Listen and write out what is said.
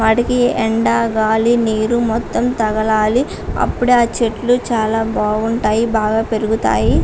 వాటికి ఎండాగాలినీరు మొత్తం తగలాలి. అప్పుడే ఆ చెట్లు చాలా బాగుంటాయి.బాగా పెరుగుతాయి.